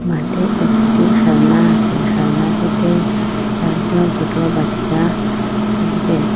মাঠে একটি খেলনা আসে খেলনাটিতে চারজন সোট বাচ্চা খেলছে